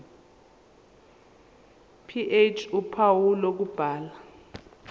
ph uphawu lokubhala